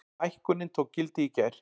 Hækkunin tók gildi í gær.